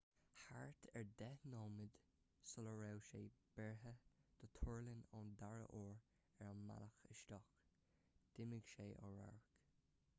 thart ar deich nóiméid sula raibh sé beartaithe dó tuirlingt ón dara uair ar a bhealach isteach d'imigh sé ó radharc